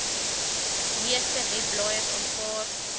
meeste webblaaiers aanvaar